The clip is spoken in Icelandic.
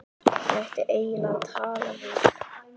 Ég ætti eiginlega að tala við